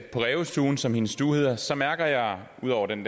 på rævestuen som hendes stue hedder så mærker jeg ud over den